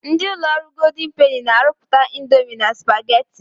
Ndị ụlọ ọrụ Goldin Peni na-arụpụta indomi na supageti.